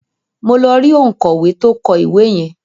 Mo lọ rí òǹkọ̀wé tó kọ ìwé yẹn.